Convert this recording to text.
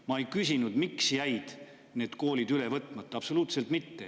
Ma ei küsinud, miks jäid need koolid üle võtmata, absoluutselt mitte.